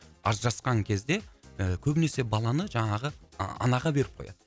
ажырасқан кезде ы көбінесе баланы жаңағы ы анаға беріп қояды